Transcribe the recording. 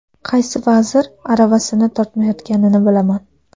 Qaysi vazir aravasini tortmayotganini bilaman.